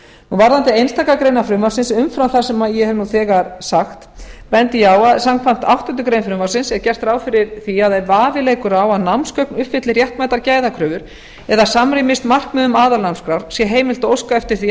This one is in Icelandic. varðandi einstakar greinar frumvarpsins umfram það sem ég hef nú þegar sagt bendi ég á að samkvæmt áttundu greinar frumvarpsins er gert ráð fyrir því að ef vafi leiki á að námsgögn uppfylli réttmætar gæðakröfur eða samrýmist markmiðum aðalnámskrár sé heimilt að óska eftir því að